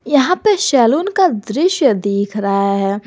यहां पे सैलून का दृश्य दिख रहा है।